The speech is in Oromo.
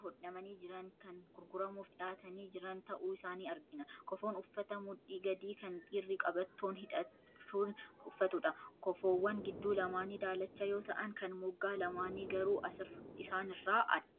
hodhamanii jiran, kan gurguramuuf dhiyaatanii jiran ta'uu isaanii argina. Kofoon uffata mudhii gadii kan dhiirri qabattoon hidhachuun uffatudha. Kofoowwan gidduu lamaanii daalacha yoo ta'an, kan moggaa lamaanii garuu isaanirra addadha.